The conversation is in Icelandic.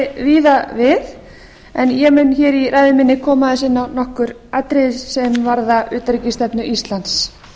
víða við en ég mun hér í ræðu minni koma aðeins inn á nokkur atriði sem varða utanríkisstefnu íslands